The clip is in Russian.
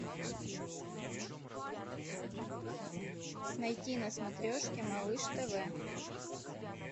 найти на смотрешке малыш тв